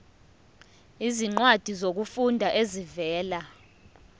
izincwadi zokufunda ezivela